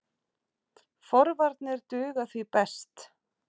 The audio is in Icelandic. Forvarnir duga því best.